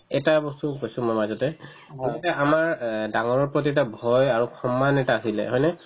এটা বস্তু কৈছো মই মাজতে সিহঁতে আমাৰ অ ডাঙৰৰ প্ৰতি এটা ভয় আৰু সন্মান এটা আছিলে মানে